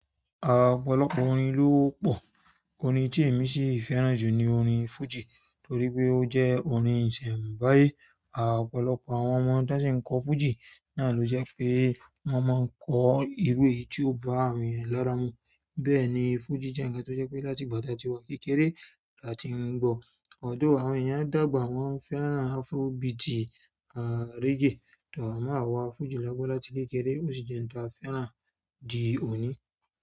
À ọ̀pọ̀lọpọ̀ orin ló wọ́pọ̀, orin tí èmi sì fẹ́ràn jù ni orin fújì torí pé ó jẹ́ orin ìsẹ̀mbáyé. A ọ̀pọ̀lọpọ̀ àwọn ọmọ tí wọ́n sì ń kọ fújì náà ló jẹ́ pé wọ́n máa ń kọ irú èyí tí yóò bá àwọn ènìyàn lára mu. Bẹ́ẹ̀ ni fújì jẹ́ ǹkan tó jẹ́ pé láti ìgbà tí a ti wà kékeré láti ń gbọ́. Although àwọn ènìyàn dàgbà wọ́n fẹ́ràn afrobeat àti reggae. Tọ̀ má wá fújì lágbọ́n láti kékeré, ó sì jẹ́ ǹkan tí a fẹ́ràn di òní.